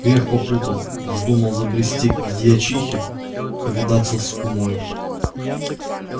грех попутал вздумал забрести к дьячихе повидаться с кумою